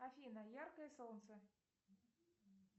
афина яркое солнце